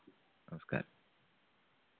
നമസ്‌കാരം.